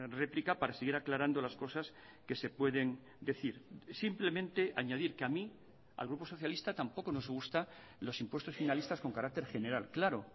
réplica para seguir aclarando las cosas que se pueden decir simplemente añadir que a mí al grupo socialista tampoco nos gusta los impuestos finalistas con carácter general claro